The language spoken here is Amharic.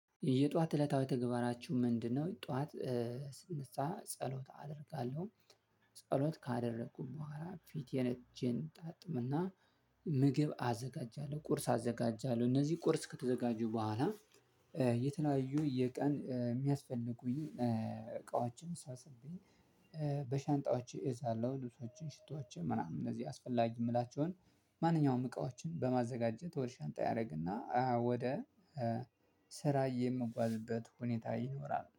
የጧት እለታዊ ተግባራችሁ ምንድነው ጧት ስነሳ ጸሎት አደርጋለው ጸሎት ካደረኩኝ ቦኋላ ፊቴን እጄን ጣጥብ እና ምግብ አዘጋጃለው ቁርስ አዘጋጃለሁ እነዚህ ቁርስ ከተዘጋጁ ቦኋላ የተለያዩ የቀን የሚያስፈልጉኝ እቃዎችን ሰብስቤ በሻንጣዎች እዛለው ልብሶችን ሽቶዎች ምናምን እነዚህ አስፈላጊ የምላቸውን ማንኛውም እቃዎችን በማዘጋጀት ወደ ሻንጣ ያረግና ወደ ስራ የምጓዝበት ሁኔታ ይኖራል።